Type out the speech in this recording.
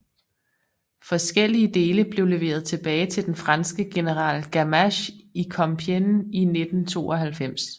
Forskellige dele blev leveret tilbage til den franske general Gamache i Compiègne i 1992